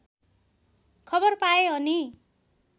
खबर पाए अनि